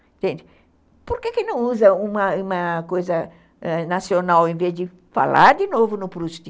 Gente, por que não usa uma uma coisa nacional em vez de falar de novo no Proust?